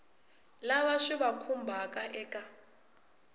lava swi va khumbhaka eka